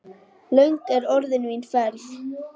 Löng er orðin mín ferð.